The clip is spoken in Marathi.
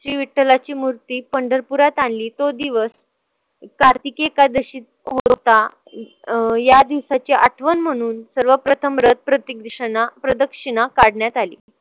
श्री विठ्ठलाची मूर्ती पंढरपुरात आणली तो दिवस कार्तिकी एकादशी अं या दिवसाची आठवण म्हणून सर्वप्रथम रथ प्रदक्षिणा काढण्यात आली.